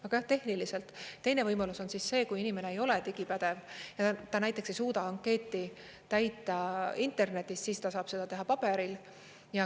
Aga tehniliselt teine võimalus on see, kui inimene ei ole digipädev, ta näiteks ei suuda ankeeti täita internetis, siis ta saab seda teha paberil.